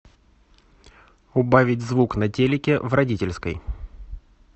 убавить звук на телике в родительской